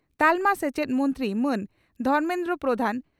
ᱛᱟᱞᱢᱟ ᱥᱮᱪᱮᱫ ᱢᱚᱱᱛᱨᱤ ᱢᱟᱱ ᱫᱷᱚᱨᱢᱮᱱᱫᱨᱚ ᱯᱨᱚᱫᱷᱟᱱ